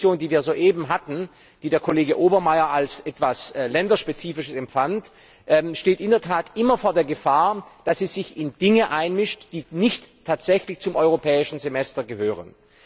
Diese Diskussion, die wir soeben hatten, die der Kollege Obermayr als etwas länderspezifisch empfand, steht in der Tat immer vor der Gefahr, dass sie sich in Dinge einmischt, die nicht tatsächlich zum Europäischen Semester gehören.